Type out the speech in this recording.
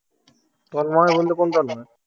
তন্ময় বলতে কোন তন্ময়?